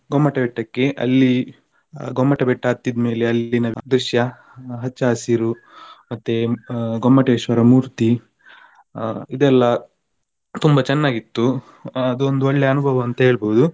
ಗೊಮ್ಮಟ ಬೆಟ್ಟಕ್ಕೆ ಅಲ್ಲಿ ಗೊಮ್ಮಟ ಬೆಟ್ಟ ಹತ್ತಿದ ಮೇಲೆ ಅಲ್ಲಿನ ದೃಶ್ಯ ಹಚ್ಚ ಹಸಿರು ಮತ್ತೆ ಗೊಮ್ಮಟೇಶ್ವರ ಮೂರ್ತಿ ಆ ಇದೆಲ್ಲಾ ತುಂಬಾ ಚೆನ್ನಾಗಿತ್ತು ಅದೊಂದು ಒಳ್ಳೆ ಅನುಭವ ಅಂತ ಹೇಳ್ಬೋದು.